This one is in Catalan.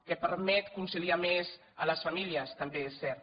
que permet conciliar més a les famílies també és cert